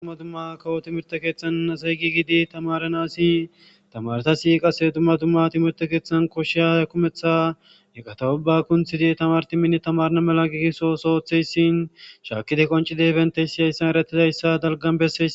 Dumma dumma kawo thimirththe keeththan asay giigidi thamaaranassi thamaarethassi qassi dumma dumma thimirththe keeththan kushshiya kumeththa eqatha ubbaa kunththide thamaarethi minne thamaarana mala giigiso ooso ooththeesi; shaakkide qonccizeyssa dalggan besseesi.